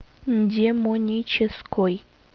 демонической